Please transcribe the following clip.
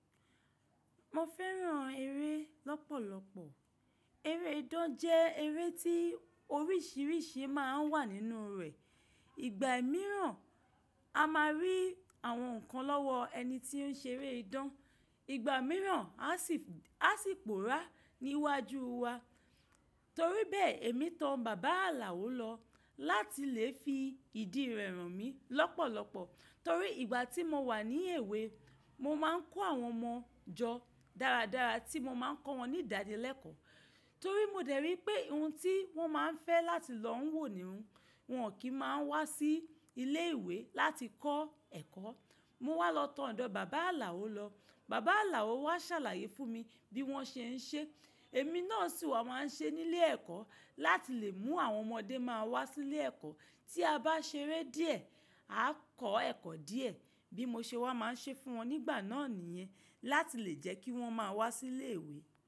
Mo fẹ́ràn eré lọ́pọ̀lọpọ̀. Eré idán jẹ́ eré tí oríṣiríṣi máa ń wà nínú rẹ̀. Igba mìíràn a máa rí àwọn nǹkan lọ́wọ́ ẹni tí ó ń ṣe eré idán, ìgbà mìíràn a sì pòórá níwájú wa. Torí bẹ́ẹ̀ èmi tan bàbá ààlàó lọ láti lè fi ìdí rẹ̀ hàn mí lọ́pọ̀lọpọ̀. Torí ìgbà tí mo wà ní èwe mo máa ń kọ́ àwọn ọmọ jọ dáradára tí mo máa ń kọ́ wọn ní ìdáni lẹ́kọ̀ọ́. Torí mo dẹ̀ rí i pé ohun tí wọ́n máa ń fẹ́ láti lọ ń wò ni wọ́n kì í máa wá sí ilé ìwé láti kọ́ ẹ̀kọ́. Mo wá lọ tan ọ̀dọ̀ bàbá ààlàó lọ. Bàbá ààlàó wá ṣàlàyé fún mi bí wọ́n ṣe ń ṣe. Èmi náà sì wá máa ń ṣe nílé ẹ̀kọ́ láti lè mú àwọn ọmọdé máa wá sílé ẹ̀kọ́. Tí a bá ṣeré díẹ̀, a kọ́ ẹ̀kọ́ díẹ̀. Bí mo ṣe wá máa ń ṣe fún wọn nígbà náà nìyẹn láti lè jẹ́ kí wọ́n máa wá sílé ìwé.